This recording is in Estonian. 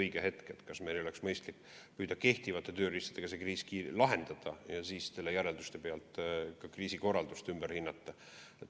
Vahest meil oleks mõistlik püüda olemasolevate tööriistadega see kriis lahendada ja siis järelduste najal kriisikorraldust ümber hindama hakata.